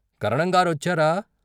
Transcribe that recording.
" కరణంగా రొచ్చారా?